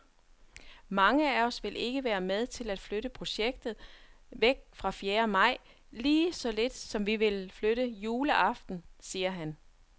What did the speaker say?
Mange af os vil ikke være med til at flytte projektet væk fra fjerde maj, lige så lidt som vi vil flytte juleaften, siger han.